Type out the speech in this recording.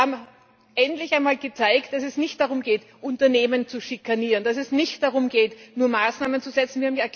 Wir haben endlich einmal gezeigt, dass es nicht darum geht, Unternehmen zu schikanieren, dass es nicht darum geht, nur Maßnahmen zu setzen.